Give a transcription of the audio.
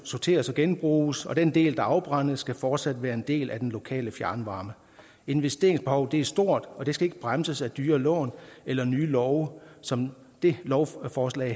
sorteres og genbruges og den del der afbrændes skal fortsat være en del af den lokale fjernvarme investeringsbehovet er stort og det skal ikke bremses af dyre lån eller af nye love som det lovforslag